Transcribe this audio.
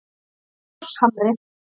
Þórshamri